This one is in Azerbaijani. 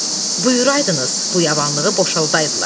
Buyuraydınız, bu yabanlığı boşaldadılar.